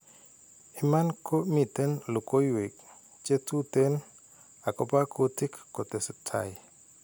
Iman ko miten logowek che tuten akopa kutik kotestai.